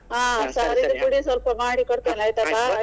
ಹಾ ಪುಡಿ ಮಾಡಿಕೊಡ್ತೇನೆ ಆಯ್ತಾ.